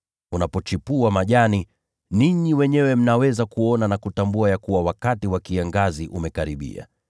Inapochipua majani, ninyi wenyewe mnaweza kuona na kutambua wenyewe ya kuwa wakati wa kiangazi umekaribia.